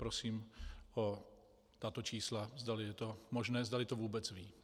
Prosím o tato čísla, zdali je to možné, zdali to vůbec ví.